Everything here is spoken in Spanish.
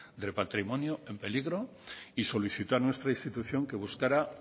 del patrimonio en peligro y solicitó a nuestra institución que buscara